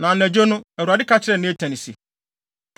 Na anadwo no, Awurade ka kyerɛɛ Natan se,